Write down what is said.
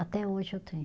Até hoje eu tenho.